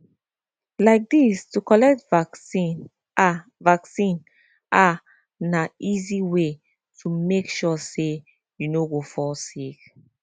like this to collect vaccine ah vaccine ah na easy way to make sure say you no go fall sick